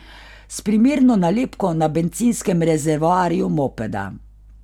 S primerno nalepko na bencinskem rezervoarju mopeda.